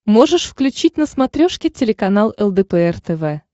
можешь включить на смотрешке телеканал лдпр тв